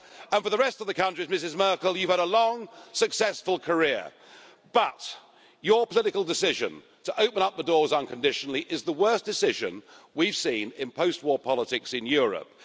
And for the rest of the countries Ms Merkel, you've had a long, successful career, but your political decision to open up the doors unconditionally is the worst decision we've seen in post war politics in Europe.